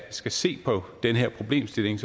skal se på den her problemstilling